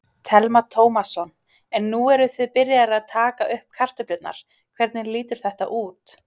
Telma Tómasson: En nú eruð þið byrjaðir að taka upp kartöflurnar, hvernig lítur þetta út?